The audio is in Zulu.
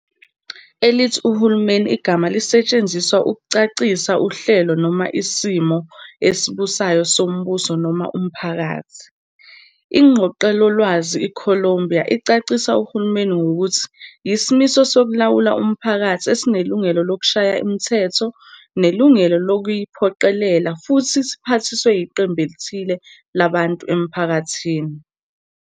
Elithi uhulumeni igama elisetshenziswa ukuchasisa uhlelo noma isimiso esibusayo sombuso noma umphakathi. INgqoqelolwazi i-Columbia ichasisa uhulumeni ngokuthi "yisimiso sokulawula umphakathi esinelungelo lokushaya imithetho, nelungelo lokuyiphoqelela, futhi siphathiswe iqembu elithile labantu emphakathini."